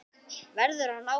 Verður hann áfram?